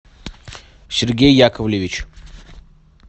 сергей яковлевич